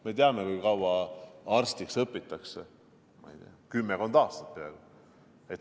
Me teame, kui kaua arstiks õpitakse: kümmekond aastat.